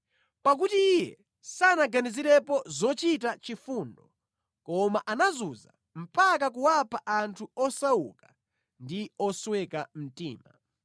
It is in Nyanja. Pakuti iye sanaganizirepo zochita chifundo, koma anazunza mpaka kuwapha anthu osauka ndi osweka mtima.